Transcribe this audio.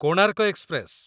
Konark express